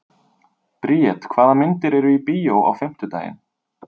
Briet, hvaða myndir eru í bíó á fimmtudaginn?